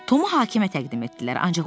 Tomu hakimə təqdim etdilər.